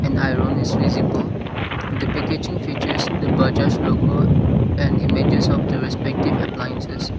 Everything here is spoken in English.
an iron is visible the packaging features the bajaj logo and images of the respective appliances.